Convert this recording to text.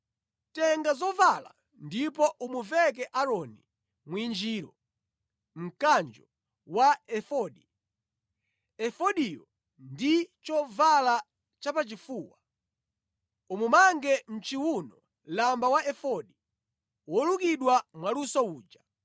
Tenga zovala ndipo umuveke Aaroni mwinjiro, mkanjo wa efodi, efodiyo ndi chovala chapachifuwa. Umumange mʼchiwuno lamba wa efodi wolukidwa mwaluso uja.